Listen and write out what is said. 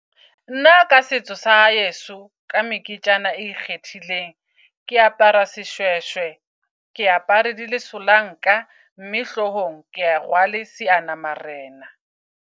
Nna ka setso sa heso ka meketjana e ikgethileng. Ke apara seshweshwe. Ke apare di le solanka mme, hlohong kea rwale seanamarena